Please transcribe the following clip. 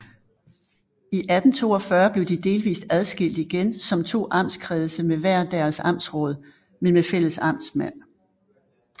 I 1842 blev de delvist adskilt igen som to amtskredse med hver deres amtsråd men med fælles amtsmand